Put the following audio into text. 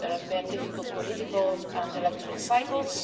there have been difficult political and electoral cycles